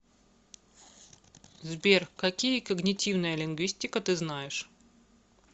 сбер какие когнитивная лингвистика ты знаешь